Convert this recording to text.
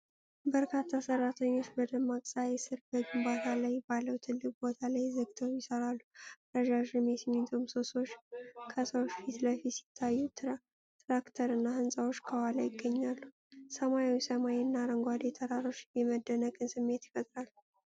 በርካታ ሰራተኞች በደማቅ ፀሐይ ስር በግንባታ ላይ ባለው ትልቅ ቦታ ላይ ተግተው ይሰራሉ። ረዣዥም የሲሚንቶ ምሰሶዎች ከሰዎች ፊት ለፊት ሲታዩ፣ ትራክተር እና ህንፃዎች ከኋላ ይገኛሉ። ሰማያዊ ሰማይ እና አረንጓዴ ተራሮች የመደነቅን ስሜት ይፈጥራል።